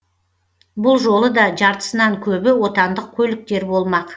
бұл жолы да жартысынан көбі отандық көліктер болмақ